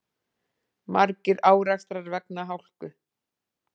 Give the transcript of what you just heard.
Margir árekstrar vegna hálku